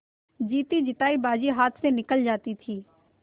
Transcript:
जीतीजितायी बाजी हाथ से निकली जाती थी